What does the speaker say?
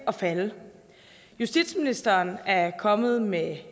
at falde justitsministeren er kommet med